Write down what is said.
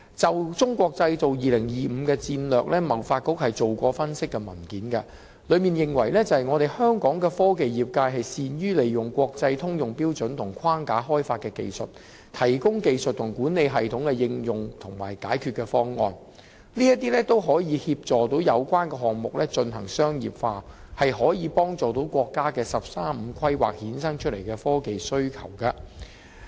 就"中國製造 2025" 的戰略，香港貿易發展局曾發表分析文件，當中認為香港的科技業界善於利用國際通用標準和框架開發的技術，提供技術和管理系統的應用和解決方案，並可協助有關項目進行商業化，切合國家的"十三五"規劃衍生出來的科技需求。